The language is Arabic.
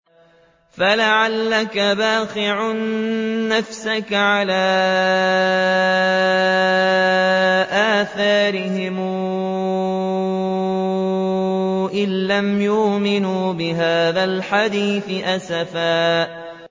فَلَعَلَّكَ بَاخِعٌ نَّفْسَكَ عَلَىٰ آثَارِهِمْ إِن لَّمْ يُؤْمِنُوا بِهَٰذَا الْحَدِيثِ أَسَفًا